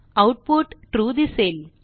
output true दिसेल